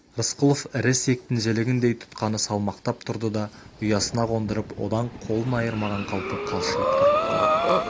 рысқұлов ірі ісектің жілігіндей тұтқаны салмақтап тұрды да ұясына қондырып одан қолын айырмаған қалпы қалшиып тұрып қалды